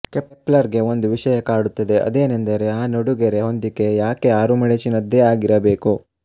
ಕೆಪ್ಲರ್ಗೆ ಒಂದು ವಿಷಯ ಕಾಡುತ್ತದೆ ಅದೇನೆಂದರೆ ಆ ನಡುಗೆರೆ ಹೊಂದಿಕೆ ಯಾಕೆ ಆರುಮಡಚಿನದ್ದೇ ಆಗಿರಬೇಕು